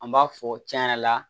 An b'a fɔ cɛn yɛrɛ la